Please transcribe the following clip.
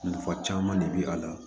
Nafa caman de bɛ a la